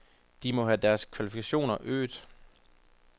De må have deres kvalifikationer øget.